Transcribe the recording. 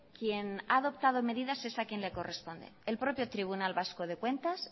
quien ha adoptado medidas es a quien le corresponde el propio tribunal vasco de cuentas